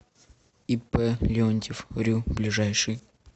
ип леонтьев рю ближайший